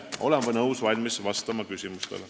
Olen valmis vastama küsimustele.